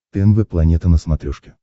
тнв планета на смотрешке